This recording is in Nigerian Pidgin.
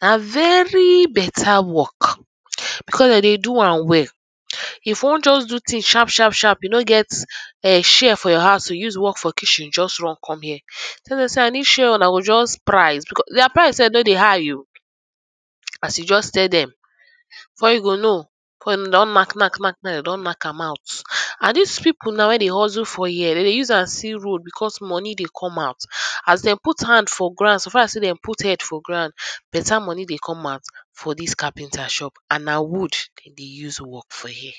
na very better work becos dem dey do am well. If you wan just do tins sharp sharp sharp you no get chair for your house to use work for kitchen just come here, tell dem say u need chair oh, una go just price dia price sef no dey high oh, as you just tell dem before you go know before you know dem don knack, knack, knack, dem don knack am out and dis pipu now wey dey hurtle for here dem dey use am see road becos money dey come out as dey put hand for ground so far sey dey put head for ground better money dey come out for dis carpenter shop and na wood dey dey use work for here.